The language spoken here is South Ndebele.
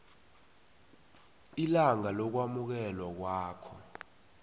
ilanga lokwamukelwa kwakho